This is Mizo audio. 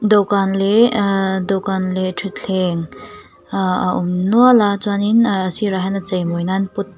dawhkan leh ah dawhkan leh thuthleng a awm nual a chuanin ah a sirah hian a chei mawi nan pot .